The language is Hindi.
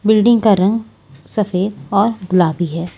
बिल्डिंग का रंग सफेद और गुलाबी है।